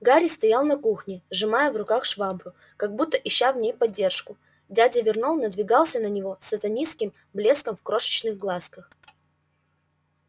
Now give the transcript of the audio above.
гарри стоял на кухне сжимая в руках швабру как будто ища в ней поддержку дядя вернон надвигался на него с сатанинским блеском в крошечных глазках